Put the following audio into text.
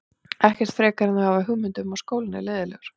Ekkert frekar en þau hafa hugmynd um að skólinn er leiðinlegur.